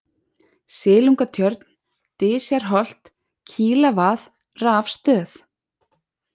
Silungatjörn, Dysjarholt, Kílvað, Rafstöð